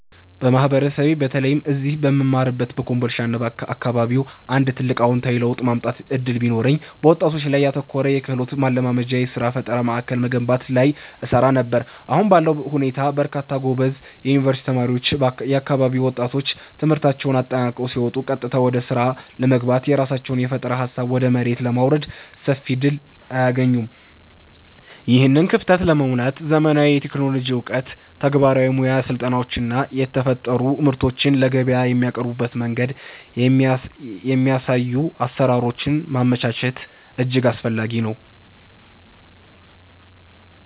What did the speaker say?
በማህበረሰቤ በተለይም እዚህ በምማርበት በኮምቦልቻና አካባቢው አንድ ትልቅ አዎንታዊ ለውጥ የማምጣት ዕድል ቢኖረኝ፣ በወጣቶች ላይ ያተኮረ የክህሎት ማልማጃና የሥራ ፈጠራ ማዕከል መገንባት ላይ እሰራ ነበር። አሁን ባለው ሁኔታ በርካታ ጎበዝ የዩኒቨርሲቲ ተማሪዎችና የአካባቢው ወጣቶች ትምህርታቸውን አጠናቀው ሲወጡ ቀጥታ ወደ ሥራ ለመግባትና የራሳቸውን የፈጠራ ሃሳብ ወደ መሬት ለማውረድ ሰፊ ዕድል አያገኙም። ይህንን ክፍተት ለመሙላት ዘመናዊ የቴክኖሎጂ ዕውቀት፣ ተግባራዊ የሙያ ስልጠናዎችና የተፈጠሩ ምርቶችን ለገበያ የሚያቀርቡበትን መንገድ የሚያሳዩ አሰራሮችን ማመቻቸት እጅግ አስፈላጊ ነው።